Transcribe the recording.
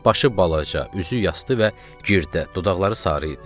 Başı balaca, üzü yastı və girdə, dodaqları sarı idi.